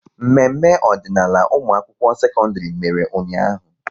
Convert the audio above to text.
Mmemme ọdịnaala ụmụakwụkwọ sekọndịrị mere ụnyaahụ